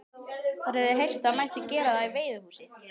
Þær höfðu heyrt það mætti gera það í veiðihúsi.